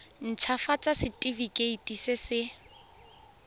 nt hafatsa setefikeiti se se